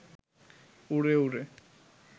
উড়ে উড়ে